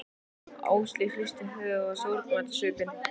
Áslaug hristi höfuðið og var sorgmædd á svipinn.